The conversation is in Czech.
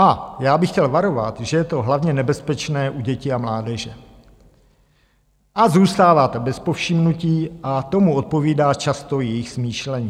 A já bych chtěl varovat, že je to hlavně nebezpečné u dětí a mládeže, a zůstává to bez povšimnutí, a tomu odpovídá často jejich smýšlení.